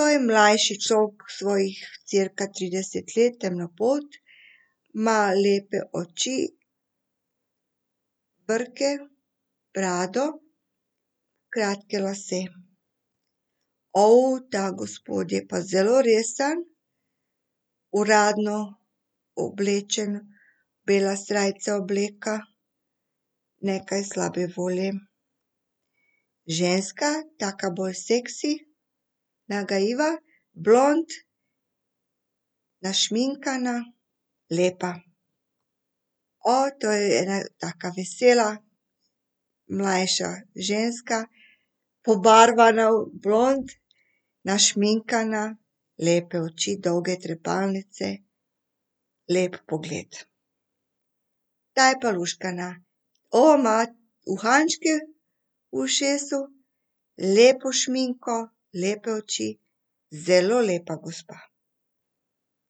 To je mlajši , svojih cirka tridesetih let, temnopolt. Ima lepe oči, brke, brado, kratke lase. ta gospod je pa zelo resen. Uradno oblečen bela srajca, obleka. Nekaj slabe volje. Ženska, taka bolj seksi. Nagajiva, blond, našminkana, lepa. to je ena taka vesela, mlajša ženska, pobarvana blond, našminkana, lepe oči, dolge trepalnice. Lep pogled. Ta je pa luštkana. ima uhančke v ušesu, lepo šminko, lepe oči. Zelo lepa gospa.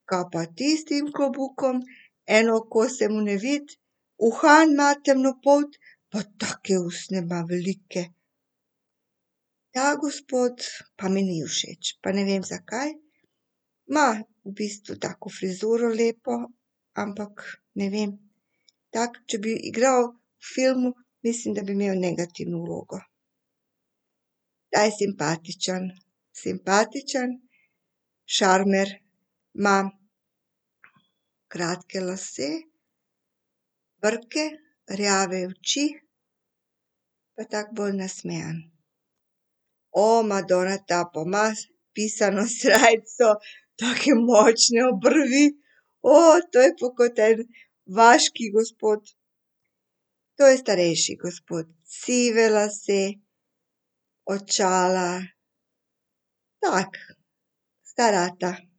Kaj pa ti s tem klobukom? Eno oko se mu ne vidi, uhan ima temnopolt pa take ustne ima velike. Ta gospod pa mi ni všeč, pa ne vem, zakaj. Ima v bistvu tako frizuro lepo, ampak, ne vem, tako, če bi igral v filmu, mislim, da bi imel negativno vlogo. Ta je simpatičen. Simpatičen, šarmer, ima kratke lase, brke, rjave oči, pa tako bolj nasmejan. madona ta pa ima pisano srajco, take močne obrvi. to je pa kot en vaški gospod. To je starejši gospod. Sive lase, očala, tak star ata.